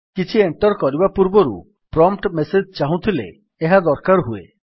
କିଛି ଏଣ୍ଟର୍ କରିବା ପୂର୍ବରୁ ଏକ ପ୍ରମ୍ପ୍ଟ୍ ମେସେଜ୍ ଚାହୁଁଥିଲେ ଏହା ଦରକାର ହୁଏ